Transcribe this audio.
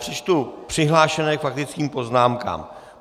Přečtu přihlášené k faktickým poznámkám.